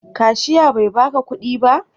Kashia bai ba ka kudi ba?